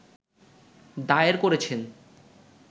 দায়ের করেছেন